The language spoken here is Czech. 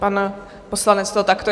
Pan poslanec to takto...